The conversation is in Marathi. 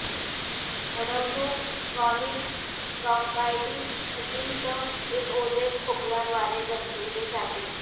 अडवणूक क्रॉनिक ब्राँकायटिस कठीण कफ एक ओले खोकला द्वारे दर्शविले जाते